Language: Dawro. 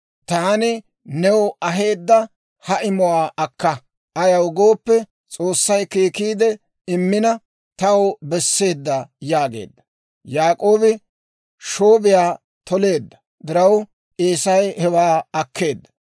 Taani new aheedda ha imuwaa akka; ayaw gooppe, S'oossay keekiidde immina, taw besseedda» yaageedda. Yaak'oobi shoobiyaa toleedda diraw, Eesay hewaa akkeedda.